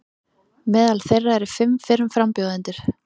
Meðal þeirra eru fimm fyrrum frambjóðendur